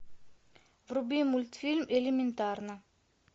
вруби мультфильм элементарно